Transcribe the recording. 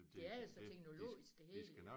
Det er så teknologisk det hele